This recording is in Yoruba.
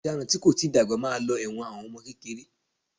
Ọ̀daràn tí kò tíì dàgbà máa lọ ẹ̀wọ̀n fún àwọn ọmọ kékeré